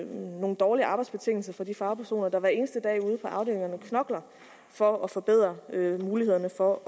nogle dårlige arbejdsbetingelser for de fagpersoner der hver eneste dag ude på afdelingerne knokler for at forbedre mulighederne for at